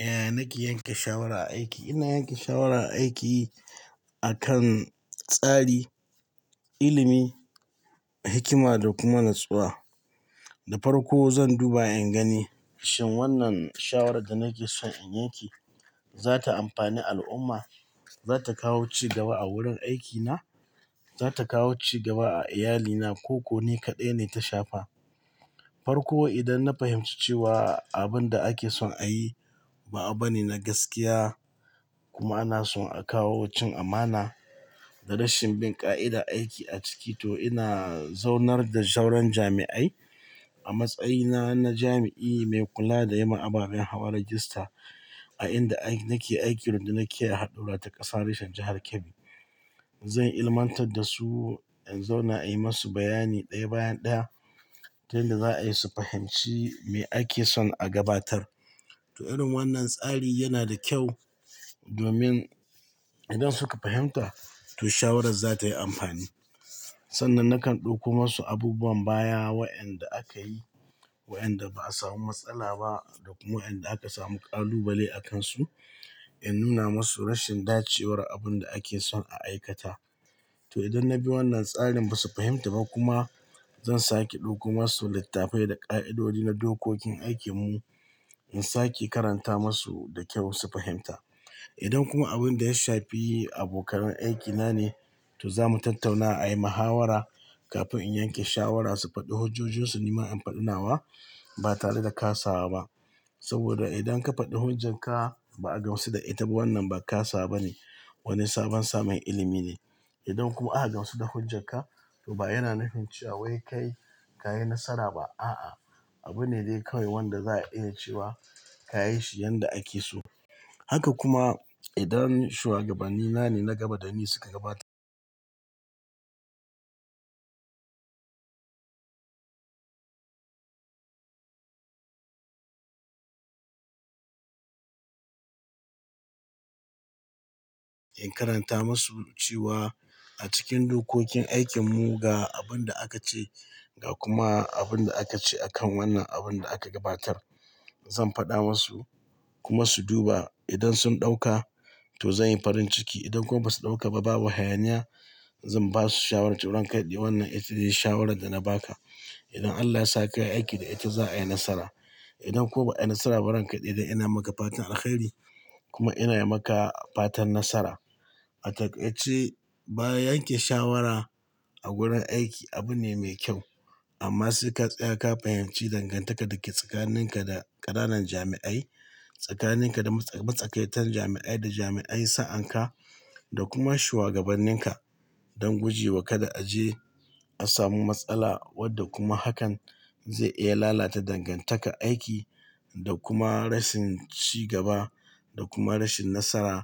Eh, na ke yanke shawara aiki. Ina yanke shawara aiki akan tsari, ilimi, hikima da kuma natsuwa. Da farko zan duba in gani shin wannan shawarar da nake son in yanke za ta amfani al'umma, za ta kawo cigaba a wurin aikina, za ta kawo cigaba a iyalina ko ko ne kaɗai ne ta shafa. Farko, idan na fahimci cewa abin da ake son a yi ba abu ne na gaskiya kuma ana son a kawo cin amana da rashin bin ƙa'ida aiki a ciki, to ina zaunar da sauran jami'ai a matsayina na jami'i mai kula da yin ababen hawa rajista a inda nake aiki wanda nake a haɗura ta ƙasa reshen jahar Kebbi. Zan ilmantar da su, in zauna a yi masu bayani ɗaya bayan ɗaya don da za a yi su fahimci me ake son a gabatar. To irin wannan tsari yana da kyau domin idan suka fahimta, to shawarar za ta yi amfani. Sannan nakan ɗauko masu abubuwan baya wa'yanda aka yi, wa'yanda ba a samu matsala ba da kuma wa'yanda aka samu ƙalubale a kansu. In nuna masu rashin dace war abun da ake son a aikata. To idan na bi wannan tsarin ba su fahimta ba kuma, zan sake ɗauko masu littafai da ƙa'idodi na dokokin aikin mu in sake karanta masu da kyau su fahimta. Idan kuma abun da ya shafi abokan aikina ne, to za mu tattauna a yi mahawara kafin in yanke shawara su faɗi hujjojin su nima in faɗinawa. Ba tare da kasawa ba saboda idan ka faɗi hujjar ka ba a gamsu da ita, wannan ba kasa wa bane, wani sabon samun ilimi ne. Idan kuma aka gamsu da hujjar ka, to ba yana nufin cewa wai kai ka yi nasara ba. A'a, abu ne dai kawai wanda za a iya cewa ka yi shi yanda ake so. Haka kuma idan shuwagabanni na ne na gaba da ni suka gabatar in karanta masu cewa a cikin dokokin aikin mu ga abun da aka ce ga kuma abun da aka ce a kan wannan abun da aka gabatar. Zan faɗa masu kuma su duba. Idan sun ɗauka to zan yi farin ciki. Idan kuma ba su ɗauka ba, babu hayaniya. Zan ba su shawarar turin kaɗi. Wannan ita ce shawarar da na ba ka. Idan Allah ya sa ka yi aiki da ita, za a yi nasara. Idan kuma ba a yi nasara ba, ranka ya daɗe ina maka fatan alheri kuma ina yi maka fatan nasara. A takai ce, bayan yanke shawara a gurin aiki abu ne mai kyau amma sai ka tsaya ka fahimci dangantaka da ke tsakanin ka da ƙananan jami'ai, tsakanin ka da matsakaitan jami'ai da jami'ai sa'an ka da kuma shuwagaban nin ka don gujewa kada a je a samu matsala wadda kuma hakan zai iya lalata dangantaka aiki da kuma rashin cigaba da kuma rashin nasara